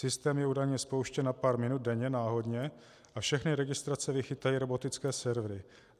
Systém je údajně spouštěn na pár minut denně, náhodně a všechny registrace vychytají robotické servery.